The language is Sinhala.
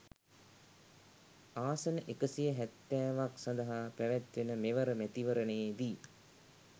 ආසන එකසිය හැත්තෑවක් සඳහා පැවැත්වෙන මෙවර මැතිවරණයේදී